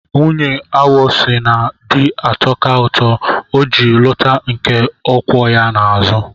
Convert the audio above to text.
Nwunye awọ sị na di atọka ụtọ, o ji lụta nke ọ kwọ ya n'azụ.